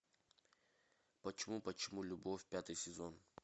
почему почему любовь пятый сезон